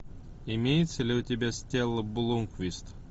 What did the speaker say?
имеется ли у тебя стелла блумквист